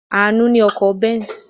Àánú ní ọkọ̀ Benz.